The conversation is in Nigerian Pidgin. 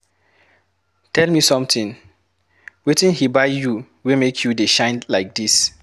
Tell me something, wetin he buy you wey make you dey shine like dis?